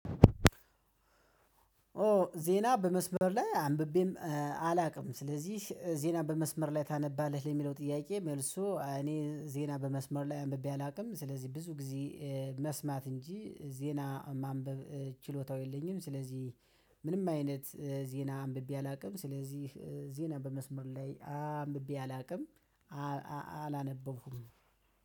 ኦ ዜና በመስመር ላይ አንብቤም አላውቅም ስለዚህ ዜና በመስመር ላይ ታነባለች የሚለው ጥያቄ መልሱ እኔ ዜና በመስመር ላይ አንብቤ አላውቅም ስለዚህ ብዙ ጊዜ መስማት እንጂ ዜና ማንበብ ችሎታው የለኝም። ስለዚህ ምንም አይነት ዜና አንብቤ አላውቅም ስለዚህ ዜና በመስመር ላይ አንብቤ አላውቅም። አላነበብኩም